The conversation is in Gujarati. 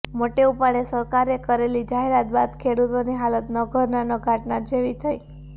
મોટે ઉપાડે સરકારે કરેલી જાહેરાત બાદ ખેડૂતોની હાલત ન ઘરના ન ઘાટના જેવી થઈ